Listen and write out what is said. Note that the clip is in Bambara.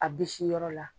A bisi yɔrɔ la